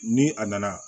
Ni a nana